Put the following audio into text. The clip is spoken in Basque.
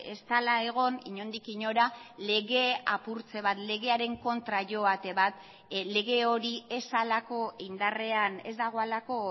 ez dela egon inondik inora lege apurtze bat legearen kontra joate bat lege hori ez halako indarrean ez dagoelako